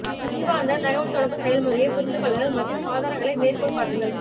அறிவார்ந்த தகவல்தொடர்பு செயல்முறையை புரிந்து கொள்ளுங்கள் மற்றும் ஆதாரங்களை மேற்கோள் காட்டுங்கள்